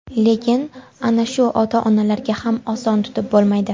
Lekin ana shu ota-onalarga ham oson tutib bo‘lmaydi.